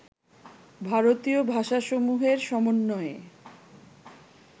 ভারতীয় ভাষাসমূহের সমন্বয়ে